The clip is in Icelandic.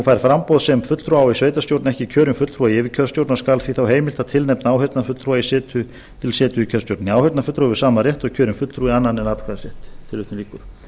fær framboð sem fulltrúa á í sveitarstjórn ekki kjörinn fulltrúa í yfirkjörstjórn og skal því þá heimilt að tilnefna áheyrnarfulltrúa til setu í kjörstjórninni áheyrnarfulltrúi hefur sama rétt og kjörinn fulltrúi annan en atkvæðisrétt tilvitnun lýkur